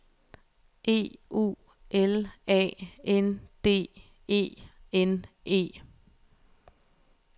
E U L A N D E N E